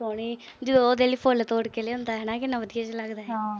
ਜਦੋਂ ਉਹ ਫੁੱਲ ਤੋੜ ਕੇ ਲਿਆਉਂਦਾ, ਹਨਾ ਕਿੰਨਾ ਵਧੀਆ ਜਾ ਲੱਗਦਾ।